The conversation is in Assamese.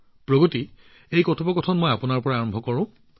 প্ৰগতি মই আপোনাৰ লগত এই কথাবতৰা আৰম্ভ কৰিছো